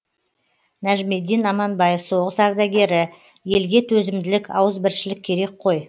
нәжмедин аманбаев соғыс ардагері елге төзімділік ауызбіршілік керек қой